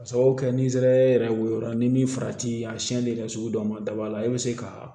Ka sababu kɛ ni zɛri yɛrɛ woyola ni min farati a siyɛnli yɛrɛ sugu dɔw ma daba la e bɛ se ka